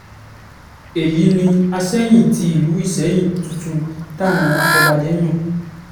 èyí ni asẹ́yìn ti ìlú ìsẹ́yìn tuntun táwọn afọbajẹ yàn